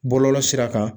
Bɔlɔlɔ sira kan